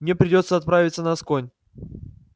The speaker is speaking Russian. мне придётся отправиться на асконь